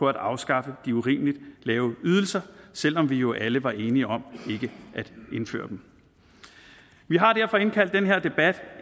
at afskaffe de urimeligt lave ydelser selv om vi jo alle var enige om ikke at indføre dem vi har derfor indkaldt til den her debat